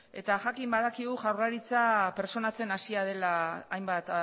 eta jakin badakigu jaurlaritza pertsonatzen hasia dela hainbat